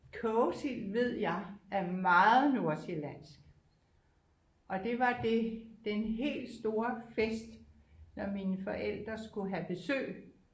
Kogesild ved jeg er meget nordsjællandsk og det var det den helt store fest når mine forældre skulle have besøg